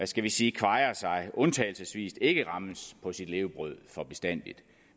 skal vi sige undtagelsesvis ikke rammes på sit levebrød for bestandigt